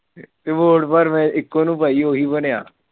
ਤੇ vote ਪਰ ਮੈਂ ਇੱਕੋ ਨੂੰ ਪਾਈ ਉਹੀ ਬਣਿਆ।